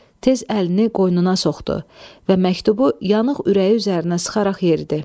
Tez əlini qoynuna soxdu və məktubu yanıq ürəyi üzərinə sıxaraq yeridi.